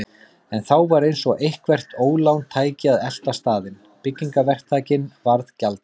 En þá var eins og eitthvert ólán tæki að elta staðinn: Byggingaverktakinn varð gjaldþrota.